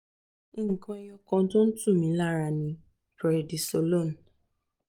nǹkan ẹyọ̀ kan tó ń tù mí lára ni presidnisolone